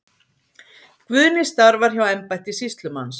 Guðni starfar hjá embætti sýslumanns.